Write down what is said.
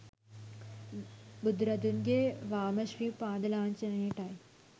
බුදුරදුන්ගේ වාම ශ්‍රී පාදලාංජනයටයි